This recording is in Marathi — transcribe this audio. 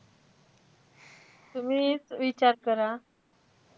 तुम्हीच विचार करा.